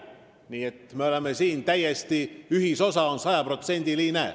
Nii et me oleme siin täiesti ühte meelt, ühisosa on sajaprotsendiline.